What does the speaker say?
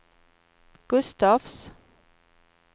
Gustafs